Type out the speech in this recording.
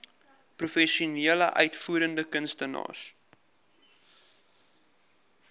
professionele uitvoerende kunstenaars